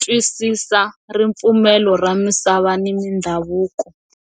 twisisa ripfumelo ra misava ni mindhavuko.